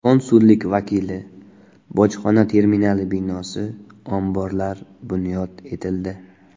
Konsullik vakili, bojxona terminali binosi, omborlar bunyod etildi.